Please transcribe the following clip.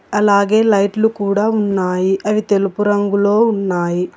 అలాగే లైట్లు కూడ ఉన్నాయి అవి తెలుపు రంగులో ఉన్నాయి.